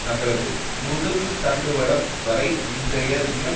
தங்களது முதுகுத்தண்டுவடம் வரை இன்றைய தினம்